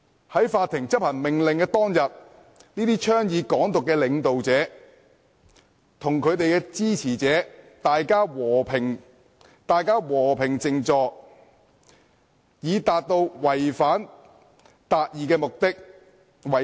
在執行法庭命令當天，這些倡議"港獨"的領導者叫支持者和平靜坐，以達到違法達義的目的。